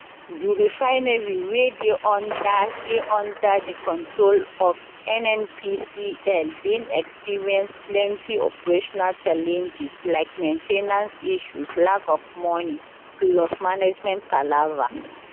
di refinery wey dey under dey under di control of nnpcl bin experience plenty operational challenges like main ten ance issues lack of money plus management palava